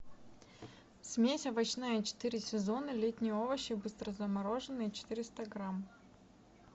смесь овощная четыре сезона летние овощи быстрозамороженные четыреста грамм